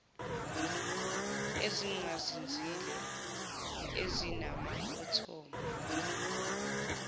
ezingazinzile ezinama athomu